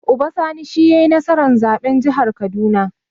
Uba Sani shi yai nasara a zaɓen jihar kaduna